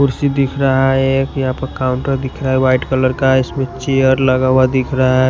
कुर्सी दिख रहा है एक यहाँ पर काउंटर दिख रहा है वाइट कलर का इसमें चेयर लगा हुआ दिख रहा है।